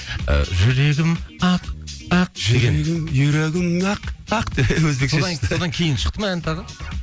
ы жүрегім ақ ақ жүрегім юрегім нақ нақ деп өзбекше шықты содан кейін шықты ма ән тағы